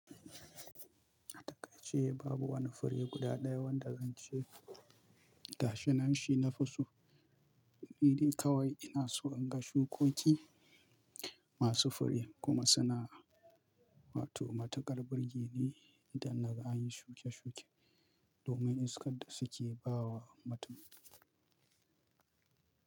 Atakai ce babu wani fure guda ɗaya wanda zance gashinan shi na fi so. Ni dai kawai ina so in ga shukoki masu fure kuma suna wato matukar birge ne idan na ga an yi shuke-shuke domin iskar da suke ba wa mutum.